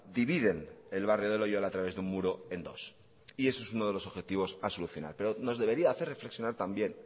dividen el barrio de loiola a través de un muro en dos y ese es uno de los objetivos a solucionar pero nos debería hacer reflexionar también